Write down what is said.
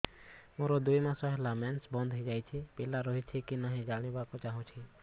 ମୋର ଦୁଇ ମାସ ହେଲା ମେନ୍ସ ବନ୍ଦ ହେଇ ଯାଇଛି ପିଲା ରହିଛି କି ନାହିଁ ଜାଣିବା କୁ ଚାହୁଁଛି